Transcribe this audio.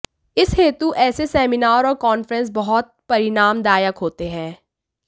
इस हेतु ऐसे सेमिनार और कांफ्रेंस बहुत परिणामदायक होते हैं